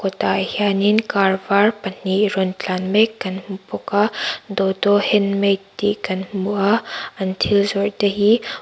kawt ah hian in car vâr pahnih rawn tlan mek kan hmu bawk a dodo handmade tih kan hmu a an thil zawrh te hi--